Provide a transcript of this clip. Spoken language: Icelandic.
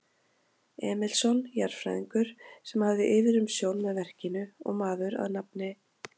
Emilsson, jarðfræðingur, sem hafði yfirumsjón með verkinu og maður að nafni